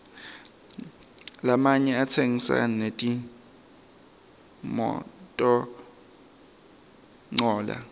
lamanye atsengisa netimototincola